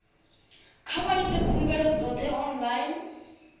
kha vha ite khumbelo dzoṱhe online